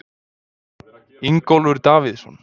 Ingólfur Davíðsson.